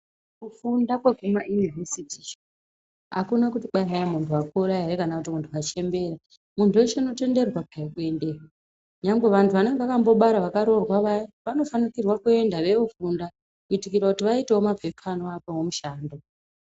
Kufunda kwekuma Univhesiti iyo, akuna kuti kwai hai muntu wakura ere kana kuti muntu wachembera . Muntu weshe unotenderwa peya kuendeyo. Nyangwe vantu vanenge vakambobara vakaroorwa vaya vanofanikirwa kuenda veiofunda kuitikira kuti vaitewo maphepa anovapawo mushando.